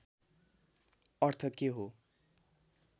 अर्थ के हो